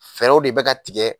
Fɛɛrɛw de bɛ ka tigɛ.